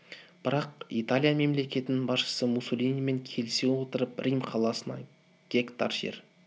бірақ италия мемлекетінің басшысы муссолинимен келісе отырып рим қаласына гектар жер